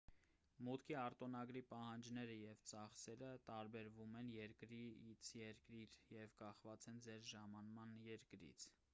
մուտքի արտոնագրի պահանջները և ծախսերը տարբերվում են երկրից երկիր և կախված են ձեր ժամանման երկրից